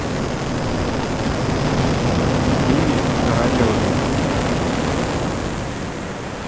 диме королеве